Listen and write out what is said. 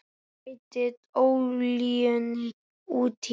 Bætið olíunni út í.